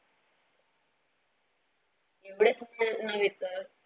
एवढेच असताना नव्हे तर.